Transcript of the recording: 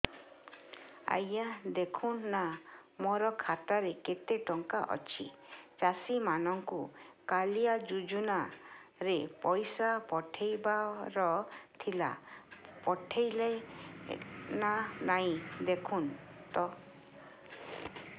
ଆଜ୍ଞା ଦେଖୁନ ନା ମୋର ଖାତାରେ କେତେ ଟଙ୍କା ଅଛି ଚାଷୀ ମାନଙ୍କୁ କାଳିଆ ଯୁଜୁନା ରେ ପଇସା ପଠେଇବାର ଥିଲା ପଠେଇଲା ନା ନାଇଁ ଦେଖୁନ ତ